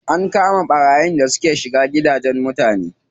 An kama ɓarayin da suke shiga gidajen mutane.